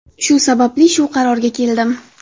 Shu sababli shu qarorga keldim.